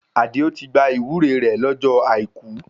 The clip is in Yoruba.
Àdìó ti gba Iwúre rẹ lójó àìkú